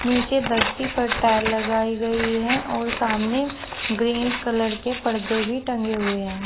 नीचे धरती पर टाइल लगाई गई है और सामने ग्रीन कलर के पर्दे भी टांगे हुए है।